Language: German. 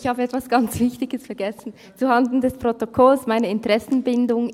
Ich habe etwas ganz Wichtiges zuhanden des Protokolls vergessen: meine Interessenbindung.